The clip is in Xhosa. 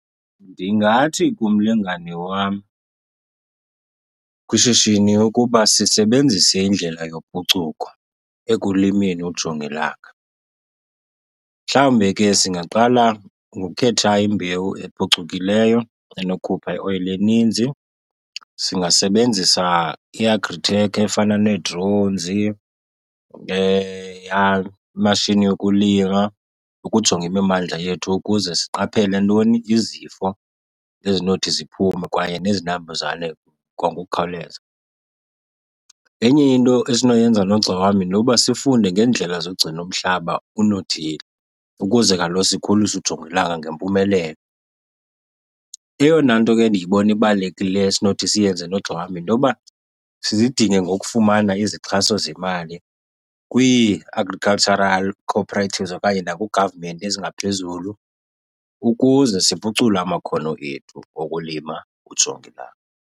Ndingathi kumlingane wam kwishishini ukuba sisebenzise indlela yophucuko ekulimeni ujongilanga, mhlawumbe ke singaqala ngokhetha imbewu ephucukileyo enokhupha ioyile eninzi. Singasebenzisa i-agri tech efana nee-drones, yha imashini yokulima ukujonga imimandla yethu ukuze siqaphele ntoni? Izifo ezinothi ziphume kwaye nezinambuzane kwangokukhawuleza. Enye into esinoyenza nogxa wam yintoba sifunde ngeendlela zogcina umhlaba unothile ukuze kaloku sikhulise ujongilanga ngempumelelo. Eyona nto ke ndiyibona ibalulekile esinothi siyenze nogxa wam yintoba sizidine ngokufumana izixhaso zemali kwii-agricultural cooperatives okanye naku-government ezingaphezulu ukuze siphucule amakhono ethu okulima ujongilanga.